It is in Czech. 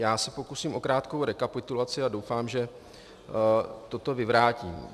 Já se pokusím o krátkou rekapitulaci a doufám, že toto vyvrátím.